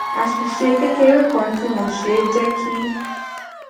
àṣìṣe kékeré kan tí mo ṣe jé kí